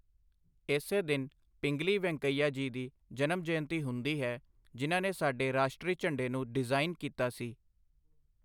ਇਸੇ ਦਿਨ ਪਿੰਗਲੀ ਵੈਂਕਈਆ ਜੀ ਦੀ ਜਨਮ ਜਯੰਤੀ ਹੁੰਦੀ ਹੈ, ਜਿਨ੍ਹਾਂ ਨੇ ਸਾਡੇ ਰਾਸ਼ਟਰੀ ਝੰਡੇ ਨੂੰ ਡਿਜ਼ਾਈਨ ਕੀਤਾ ਸੀ।